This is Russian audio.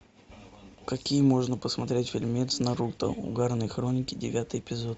какие можно посмотреть фильмец наруто угарные хроники девятый эпизод